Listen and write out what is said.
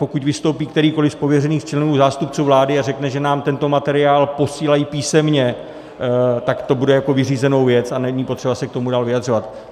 Pokud vystoupí kterýkoliv z pověřených členů zástupců vlády a řekne, že nám tento materiál posílají písemně, tak to beru jako vyřízenou věc a není potřeba se k tomu dál vyjadřovat.